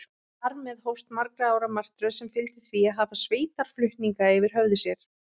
Þar með hófst margra ára martröð, sem fyldi því að hafa sveitarflutninga yfir höfði sér.